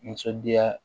Nisɔndiya